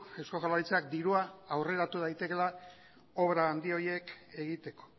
eusko jaurlaritzak dirua aurreratu daitekeela obrak handi horiek egiteko